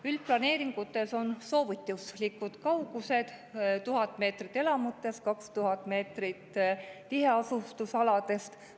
Üldplaneeringutes on soovituslikud kaugused 1000 meetrit elamutest ja 2000 meetrit tiheasustusaladest.